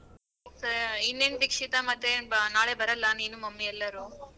ಸ ಇನ್ನೇನ್ ದೀಕ್ಷಿತ ಮತ್ತೆ ಬ ನಾಳೆ ಬರಲ್ಲ ನೀನು mummy ಎಲ್ಲರೂ?